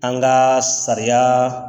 An ka sariya